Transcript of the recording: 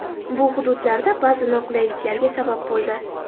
Bu hududlarda ba’zi noqulayliklarga sabab bo‘ldi.